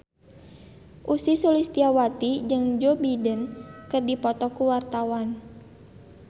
Ussy Sulistyawati jeung Joe Biden keur dipoto ku wartawan